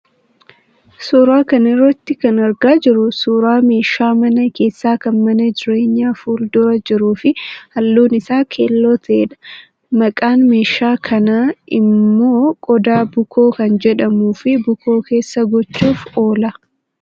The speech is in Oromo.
Suuraa kana irraa kan argaa jirru suuraa meeshaa mana keessaa kan mana jireenyaa fuuldura jiruu fi halluun isaa keelloo ta'edha. Maqaan meeshaa kanaa immoo qoda bukoo kan jedhamuu fi bukoo keessa gochuuf oola.